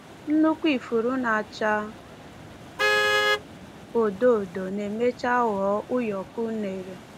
Nnukwu ifuru na-acha odo odo na-emecha ghọọ ụyọkọ unere.